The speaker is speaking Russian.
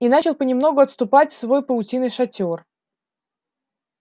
и начал понемногу отступать в свой паутинный шатёр